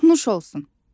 Nuş olsun!